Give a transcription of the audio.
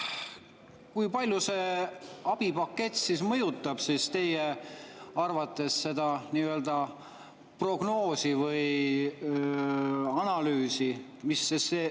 Kui palju see abipakett teie arvates mõjutab seda nii-öelda prognoosi või analüüsi?